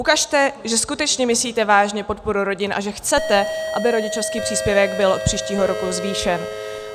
Ukažte, že skutečně myslíte vážně podporu rodin a že chcete, aby rodičovský příspěvek byl od příštího roku zvýšen.